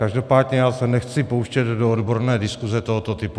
Každopádně já se nechci pouštět do odborné diskuse tohoto typu.